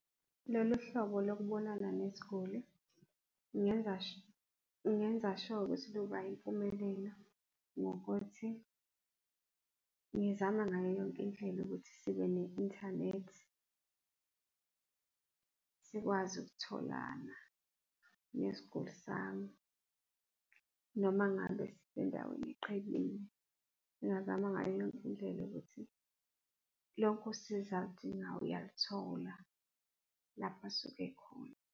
Lolu hlobo lokubonana nesiguli ngingenza sure ukuthi luba yimpumelelo ngokuthi ngizama ngayo yonke indlela ukuthi sibe ne-inthanethi, sikwazi ukutholana nesiguli sami noma ngabe sisendaweni eqhelile. Ngingazama ngayo yonke indlela ukuthi lonke usizo aludingayo uyalithola lapho asuke ekhona.